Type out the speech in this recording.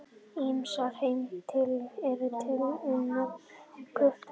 Ýmsar heimildir eru til um nafnið Guttorm.